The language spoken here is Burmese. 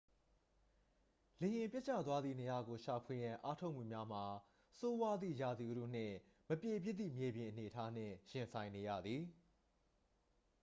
လေယာဉ်ပျက်ကျသွားသည့်နေရာကို ရှာဖွေရန် အားထုတ်မှုများမှာ ဆိုးဝါးသည့် ရာသီဥတုနှင့် မပြေပြစ်သည့် မြေပြင်အနေအထားနှင့် ရင်ဆိုင်နေရသည်